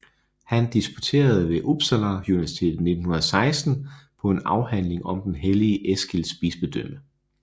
Han disputerede ved Uppsala universitet 1916 på en afhandling om den hellige Eskils bispedømme